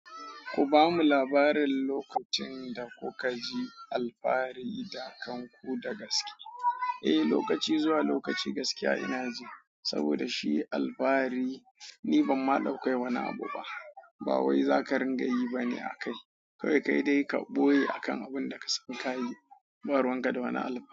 Ku ba mu labarin lokacin da kuka ji alfahari da kanku da gaske. Eh, lokaci zuwa lokaci gaskiya ina ji saboda shi alfahari ni ban ma daukai wani abu ba. Ba wai za ka ringa yi ba ne a kai. Kai dai ka boye akan abin da ka sani ka yi. Ba ruwan ka da wani alfahari.